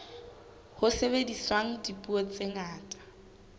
ho sebediswang dipuo tse ngata